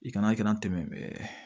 I kana kɛnɛ tɛmɛ